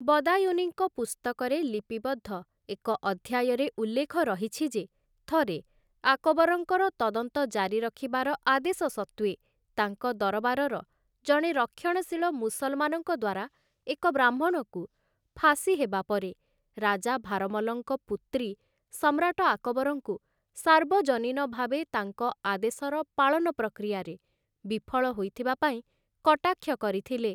ବଦାୟୁନିଙ୍କ ପୁସ୍ତକରେ ଲିପିବଦ୍ଧ ଏକ ଅଧ୍ୟାୟରେ ଉଲ୍ଲେଖ ରହିଛି ଯେ ଥରେ ଆକବରଙ୍କର ତଦନ୍ତ ଜାରି ରଖିବାର ଆଦେଶ ସତ୍ତ୍ୱେ ତାଙ୍କ ଦରବାରର ଜଣେ ରକ୍ଷଣଶୀଳ ମୁସଲମାନଙ୍କ ଦ୍ୱାରା ଏକ ବ୍ରାହ୍ମଣକୁ ଫାଶୀ ହେବା ପରେ, ରାଜା ଭାରମଲଙ୍କ ପୁତ୍ରୀ ସମ୍ରାଟ ଆକବରଙ୍କୁ ସାର୍ବଜନୀନ ଭାବେ ତାଙ୍କ ଆଦେଶର ପାଳନ ପ୍ରକ୍ରିୟାରେ ବିଫଳ ହୋଇଥିବା ପାଇଁ କଟାକ୍ଷ କରିଥିଲେ ।